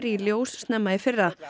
í ljós snemma í fyrra